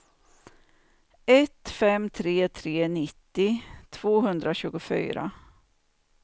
ett fem tre tre nittio tvåhundratjugofyra